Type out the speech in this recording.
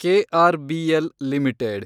KRBL limited